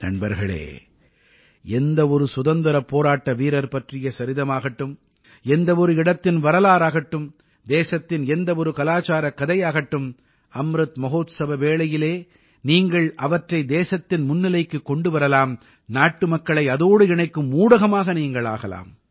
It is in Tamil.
நண்பர்களே எந்த ஒரு சுதந்திரப் போராட்டவீரர் பற்றிய சரிதமாகட்டும் எந்த ஒரு இடத்தின் வரலாறாகட்டும் தேசத்தின் எந்த ஒரு கலாச்சாரக் கதையாகட்டும் அம்ருத் மஹோத்சவ வேளையில் நீங்கள் அவற்றை தேசத்தின் முன்னிலைக்குக் கொண்டு வரலாம் நாட்டுமக்களை அதோடு இணைக்கும் ஊடகமாக ஆகலாம்